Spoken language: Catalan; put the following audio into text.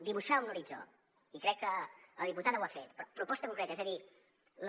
dibuixar un horitzó i crec que la diputada ho ha fet però proposta concreta és a dir la